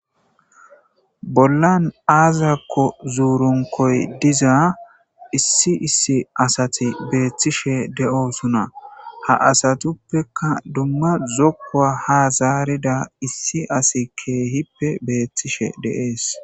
Bollan aazakko zuurunkoy diza issi issi asati beethtishe de'oosuna ha asatuppeka dumma zokkoa ha zaarida issi asi keehippe beethtishe deees.